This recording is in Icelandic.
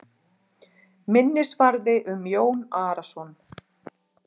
Minnisvarði um Jón Arason.